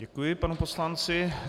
Děkuji panu poslanci.